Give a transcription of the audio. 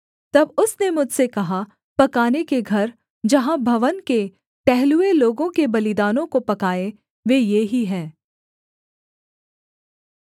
तब उसने मुझसे कहा पकाने के घर जहाँ भवन के टहलुए लोगों के बलिदानों को पकाएँ वे ये ही हैं